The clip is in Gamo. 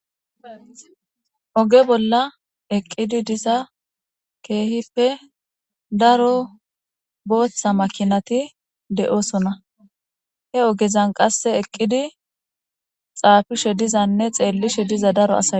Oge bolla eqqidi diza daro kehippe booththa makinati doosona. He ogezan qasse eqqidi xaafishe dizane xeellishe diza asati doosona.